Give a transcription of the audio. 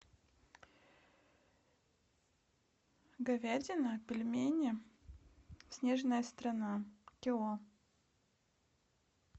говядина пельмени снежная страна кило